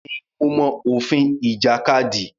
Bẹ́ẹ̀ ni, mo mọ òfin ìjàkadì.